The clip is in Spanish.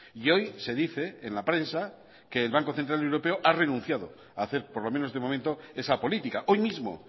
y hoy se dice en la prensa que el banco central europeo ha renunciado a hacer por lo menos de momento esa política hoy mismo